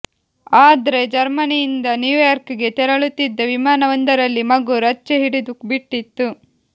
ಆದ್ರೆ ಜರ್ಮನಿಯಿಂದ ನ್ಯೂಯಾರ್ಕ್ ಗೆ ತೆರಳುತ್ತಿದ್ದ ವಿಮಾನವೊಂದರಲ್ಲಿ ಮಗು ರಚ್ಚೆ ಹಿಡಿದುಬಿಟ್ಟಿತ್ತು